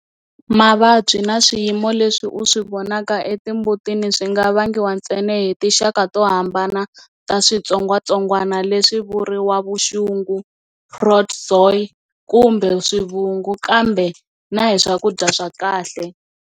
Mavabyi na swiyimo leswi u swi vonaka etimbutini swi nga vangiwa ntsena hi tinxaka to hambana ta switsongwatsongwana leswi vuriwa vuxungu, protozoa kumbe swivungu, kambe na hi swakudya swa kahle.